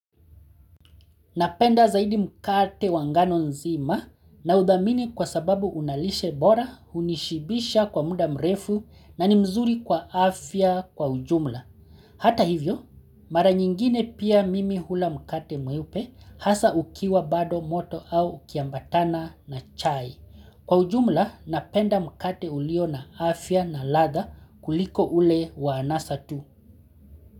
Napenda zaidi mkate wangano nzima na udhamini kwa sababu unalishe bora unishibisha kwa muda mrefu na ni mzuri kwa afya kwa ujumla. Hata hivyo, mara nyingine pia mimi hula mkate mweupe hasa ukiwa bado moto au ukiambatana na chai. Kwa ujumla, napenda mkate ulio na afya na ladha kuliko ule wa anasa tu.